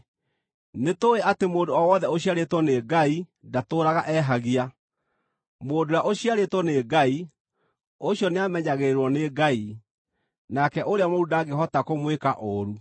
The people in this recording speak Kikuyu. Nĩtũũĩ atĩ mũndũ o wothe ũciarĩtwo nĩ Ngai ndatũũraga ehagia; mũndũ ũrĩa ũciarĩtwo nĩ Ngai, ũcio nĩamenyagĩrĩrwo nĩ Ngai, nake ũrĩa mũũru ndangĩhota kũmwĩka ũũru.